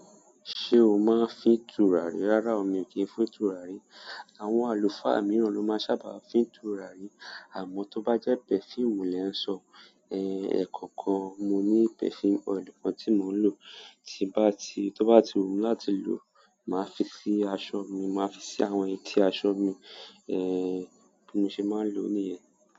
Ṣé o máa ń fín tùràrí? Rárá o, miì kìí ń fín tùràrí. Àwọn àlùfáà mìíràn ló máa ń sábà fín tùràrí. Àmọ́ tó bá jẹ́ perfume lẹ̀ ń sọ, ẹ́, ẹ̀kọ̀ọ̀kan mo ní perfume oil kan tí mò ń lò. Tí ń bá ti, tó bá ti wù mí láti lò, màá fi sí aṣọ mi, màá fi sí àwọn etí aṣọ mi, ẹ́, bí mo ṣe máa ń lò ó nìyẹn.